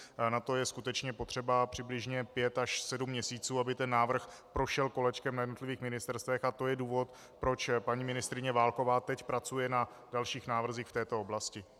Na to je skutečně potřeba přibližně pět až sedm měsíců, aby ten návrh prošel kolečkem na jednotlivých ministerstvech, a to je důvod, proč paní ministryně Válková teď pracuje na dalších návrzích v této oblasti.